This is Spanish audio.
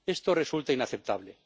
Esto resulta inaceptable.